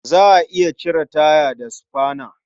Za a iya cire taya da sufana.